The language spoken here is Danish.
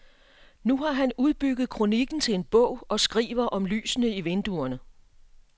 Nu har han udbygget kroniken til en bog og skriver om lysene i vinduerne.